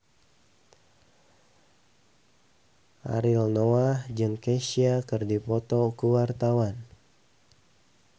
Ariel Noah jeung Kesha keur dipoto ku wartawan